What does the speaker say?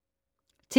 TV 2